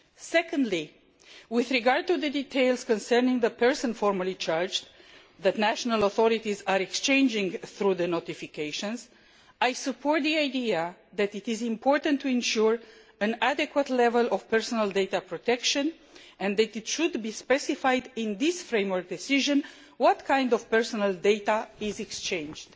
Secondly, with regard to the details concerning the person formally charged, which national authorities exchange through the notifications, I support the idea that it is important to ensure an adequate level of data protection and that it should be specified in this Framework Decision what kind of personal data is exchanged.